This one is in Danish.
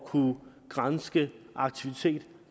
kunne granske aktivitet